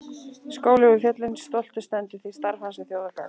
Skólinn við fjöllin stoltur stendur því starf hans er þjóðargagn.